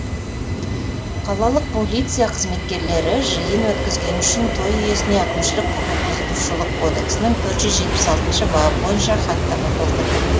қалалық полиция қызметкерлері жиын өткізгені үшін той иесіне әкімшілік құқық бұзылушылық кодексінің төрт жүз жетпіс алтыншы бабы бойынша хаттама толтырды